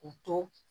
U to